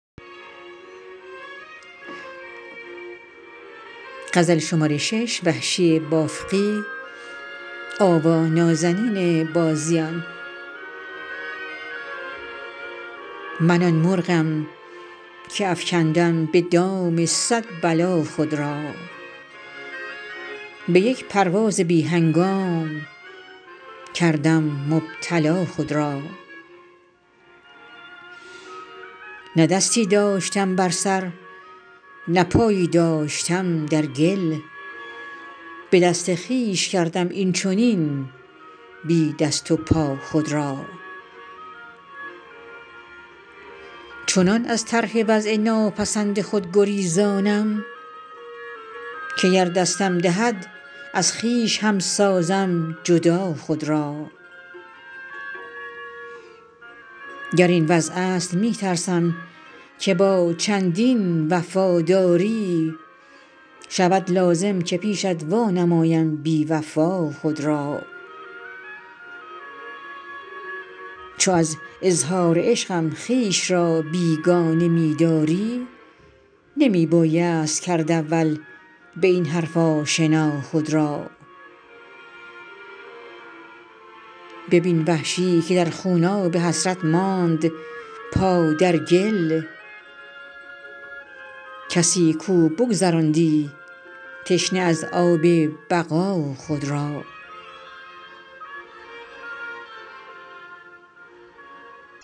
من آن مرغم که افکندم به دام صد بلا خود را به یک پرواز بی هنگام کردم مبتلا خود را نه دستی داشتم بر سر نه پایی داشتم در گل به دست خویش کردم اینچنین بی دست و پا خود را چنان از طرح وضع ناپسند خود گریزانم که گر دستم دهد از خویش هم سازم جدا خود را گر این وضع است می ترسم که با چندین وفاداری شود لازم که پیشت وانمایم بیوفا خود را چو از اظهار عشقم خویش را بیگانه می داری نمی بایست کرد اول به این حرف آشنا خود را ببین وحشی که در خوناب حسرت ماند پا در گل کسی کو بگذراندی تشنه از آب بقا خود را